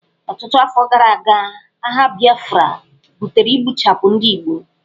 Ọtụtụ afọ gara aga, agha Biafra butere igbuchapụ ndị Igbo.